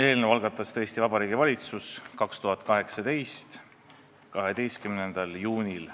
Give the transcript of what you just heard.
Eelnõu algatas tõesti Vabariigi Valitsus 2018. aasta 12. juunil.